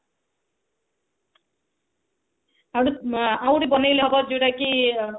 ଆଉଗୋଟେ ବନେଇଲେ ହେବ ଯୋଉଟା କି